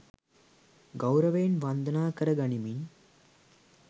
ගෞරවයෙන් වන්දනා කර ගනිමින්